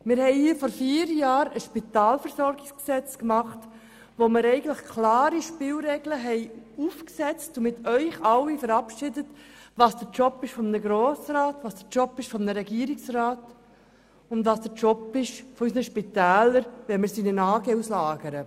Wir haben hier vor vier Jahren ein Spitalversorgungsgesetz verabschiedet, in dem eigentlich klare Spielregeln aufgestellt wurden und festgelegt wurde, was der Job eines Grossrats, eines Regierungsrats und unserer Spitäler ist, wenn wir in eine AG auslagern.